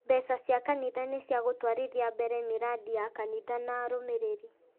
Mbeca cia kanitha nĩ cia gũtwarithia mbere mĩrandi ya kanitha na arũmĩrĩri